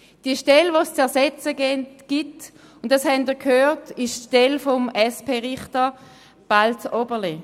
Die zu ersetzende Stelle ist die Stelle des SP-Richters Balz Oberle.